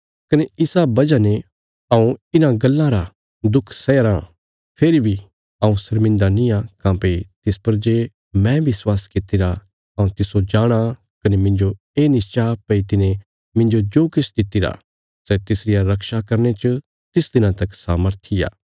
कने इसा वजह ने हऊँ इन्हां गल्लां रा दुख सैया राँ फेरी बी हऊँ शर्मान्दा निआं काँह्भई तिस पर जे मैं विश्वास कित्तिरा हऊँ तिस्सो जाणाँ कने मिन्जो ये निश्चा भई तिने मिन्जो जो किछ दित्तिरा सै तिसरिया रक्षा करने च तिस दिना तक समर्थी आ